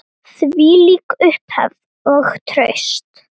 Þvílík upphefð og traust.